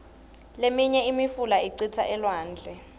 liminye imifula icitsa elwandle